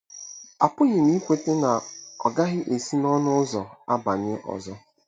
Apụghị m ikweta na ọ gaghị esi n'ọnụ ụzọ abanye ọzọ.